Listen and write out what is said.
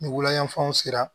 Ni wula yan fanw sera